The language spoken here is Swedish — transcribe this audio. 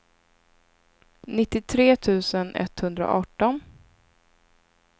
nittiotre tusen etthundraarton